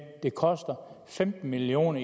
at det koster femten million